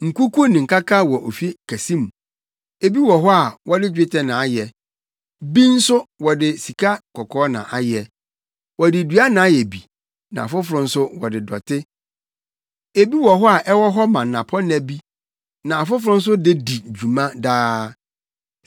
Nkuku ne nkaka wɔ ofi kɛse mu. Ebi wɔ hɔ a wɔde dwetɛ na ayɛ, bi nso wɔde sikakɔkɔɔ na ayɛ. Wɔde dua na ayɛ bi na afoforo nso wɔde dɔte. Ebi wɔ hɔ a ɛwɔ hɔ ma nnapɔnna bi na afoforo nso de di dwuma daa.